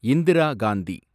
Indira Gandhi